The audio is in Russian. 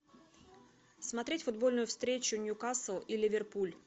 смотреть футбольную встречу ньюкасл и ливерпуль